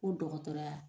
Ko dɔgɔtɔrɔya